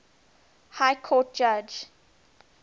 high court judge